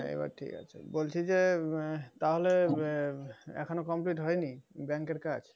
এবার ঠিক আছে। বলছি যে বে তাহলে এখোন complete হয়নি bank এর কাজ?